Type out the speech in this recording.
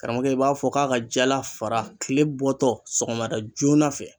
Karamɔgɔkɛ i b'a fɔ k'a ka jala fara kile bɔtɔ sɔgɔmada joona fɛ